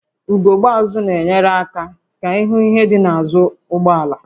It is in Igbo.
Ugogbe azụ na-enyere aka ịhụ ihe dị n'azụ ụgbọ ala